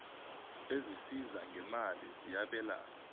ezisiza ngeemali ziyabelana